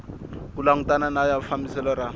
ku langutana na fambiselo ra